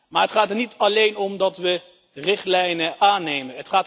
Maar het gaat er niet alleen om dat we richtlijnen aannemen.